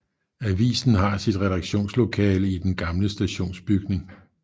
Avisen har sit redaktionslokale i den gamle stationsbygning